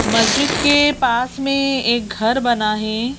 मस्जिद के पास में एक घर बना है।